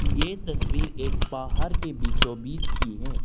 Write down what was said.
ये तस्वीर एक बाहर के बीचो बीच की है।